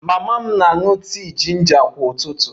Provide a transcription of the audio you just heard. Mama m na-aṅụ tii jinja kwa ụtụtụ